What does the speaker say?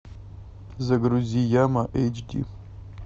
загрузи яма эйч ди